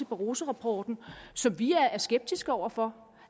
barrosorapporten som vi er skeptiske over for